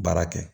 Baara kɛ